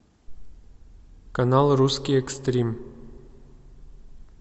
канал русский экстрим